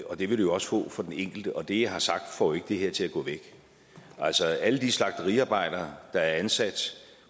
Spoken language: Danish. og det vil det også få for den enkelte og det jeg har sagt får jo det her til at gå væk altså alle de slagteriarbejdere der er ansat